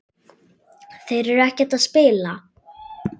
Þeir eru ekkert að spila?